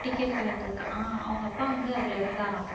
ticket collector க அவங்க அப்பா வந்து அதுல இருந்தாராம்